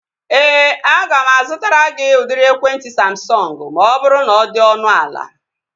Ee, aga m azụtara gị udiri ekwentị Samsọngu ma ọ bụrụ na ọ dị ọnụ ala